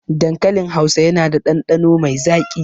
Dankalin hausa yana da ɗanɗano mai zaƙi